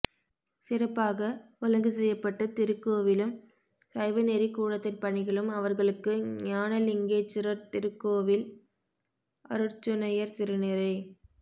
சிறப்பாக ஒழுங்குசெய்யப்பட்டு திருக்கோவிலும் சைவநெறிக்கூடத்தின் பணிகளும் அவர்களுக்கு ஞானலிங்கேச்சுரர் திருகுகோவில் அருட்சுனையர் திருநிறை